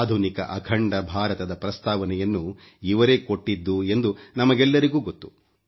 ಆಧುನಿಕ ಅಖಂಡ ಭಾರತದ ಪ್ರಸ್ತಾವನೆಯನ್ನು ಇವರೇ ಕೊಟ್ಟಿದ್ದು ಎಂದು ನಮಗೆಲ್ಲರಿಗೂ ಗೊತ್ತು